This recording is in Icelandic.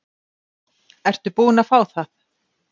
Ertu búin að fá það?